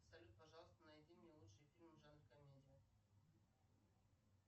салют пожалуйста найди мне лучшие фильмы в жанре комедия